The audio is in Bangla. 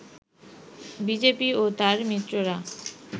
বিজেপি ও তার মিত্ররা